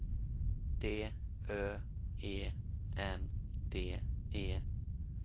D Ö E N D E